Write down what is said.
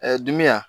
dimi ya